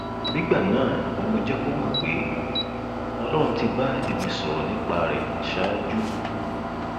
nígbà náà ni mo jẹ kó mọ pé ọlọrun ti bá ẹmí sọrọ nípa rẹ ṣáájú